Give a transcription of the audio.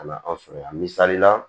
A la aw sɔrɔ yan misalila